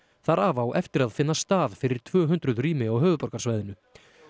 þar af á eftir finna stað fyrir tvö hundruð rými á höfuðborgarsvæðinu